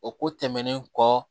O ko tɛmɛnen kɔ